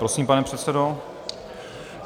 Prosím, pane předsedo.